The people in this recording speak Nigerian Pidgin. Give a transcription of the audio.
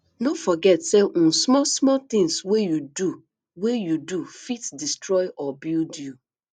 no forget say um small small things wey you do wey you do fit destroy or build you